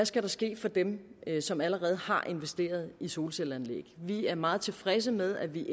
skal ske for dem som allerede har investeret i solcelleanlæg vi er meget tilfredse med at vi